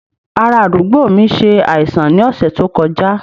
Ará àdúgbò mi ṣe àìsàn ní ọ̀sẹ̀ tó kọjá